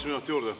Üks minut juurde.